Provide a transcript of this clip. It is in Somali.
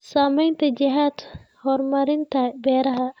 Saamaynta jihada horumarinta beeraha.